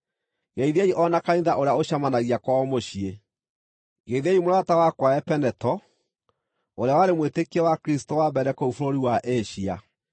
Geithiai o na kanitha ũrĩa ũcemanagia kwao mũciĩ. Geithiai mũrata wakwa Epeneto, ũrĩa warĩ mwĩtĩkia wa Kristũ wa mbere kũu bũrũri wa Asia.